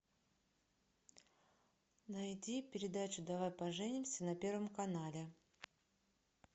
найди передачу давай поженимся на первом канале